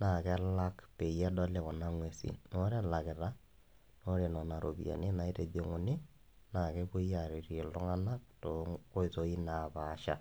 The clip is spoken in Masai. naa kelak peedoli kuna ng'uesin naa ore elakita kuna ng'uesin naa kepuoi iltung'anak toonkoitoi naapasha